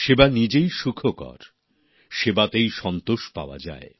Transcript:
সেবা নিজেই সুখকর সেবাতেই তৃপ্তি পাওয়া যায়